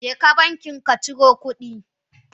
Jeka banki kaciro kudi.